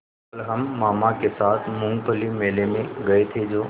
कल हम मामा के साथ मूँगफली मेले में गए थे जो